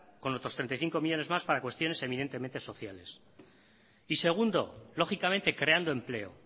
con otros treinta y cinco millónes más para cuestiones evidentemente sociales y segundo lógicamente creando empleo